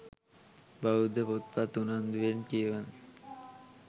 බෞද්ධ පොත්පත් උනන්දුවෙන් කියවන